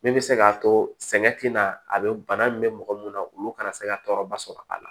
Min bɛ se k'a to sɛgɛn tɛna a bɛ bana min bɛ mɔgɔ mun na olu kana se ka tɔɔrɔba sɔrɔ a la